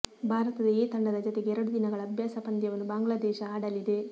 Bharat A ತಂಡದ ಜತೆಗೆ ಎರಡು ದಿನಗಳ ಅಭ್ಯಾಸ ಪಂದ್ಯವನ್ನು ಬಾಂಗ್ಲಾದೇಶ ಆಡಲಿದೆ